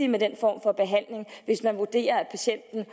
med den form for behandling hvis man vurderer at patienten